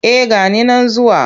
Eh ga ni nan zuwa.